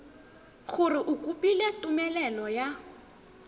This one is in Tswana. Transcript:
gore o kopile tumelelo ya